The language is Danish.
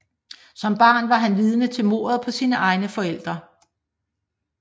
Som barn var han vidne til mordet på sine egne forældre